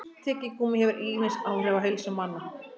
Tyggigúmmí hefur ýmis áhrif á heilsu manna.